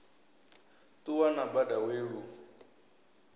ṱuwa na bada we lu